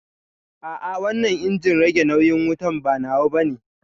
A'a wannan injin rage nauyin wutan ba nawa bane